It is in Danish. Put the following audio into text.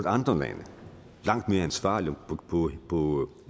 andre lande langt mere ansvarligt på